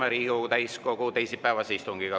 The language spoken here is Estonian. Alustame Riigikogu täiskogu teisipäevast istungit.